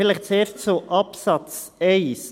Vielleicht zuerst zu Absatz 1.